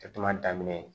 daminɛ ye